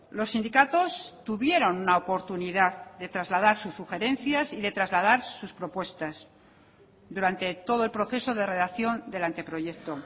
los sindicatos tuvieron una oportunidad de trasladar sus sugerencias y de trasladar sus propuestas durante todo el proceso de redacción del anteproyecto